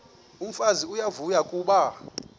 umfazi uyavuya kuba